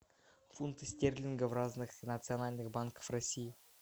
фунты стерлингов в разных национальных банках россии